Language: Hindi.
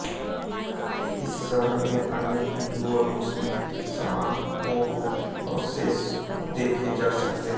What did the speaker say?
इस शहर में अनेक हिन्दू और मुस्लिम स्मारकों के अवशेष देखे जा सकते हैं